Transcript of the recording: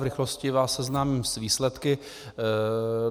V rychlosti vás seznámím s výsledky.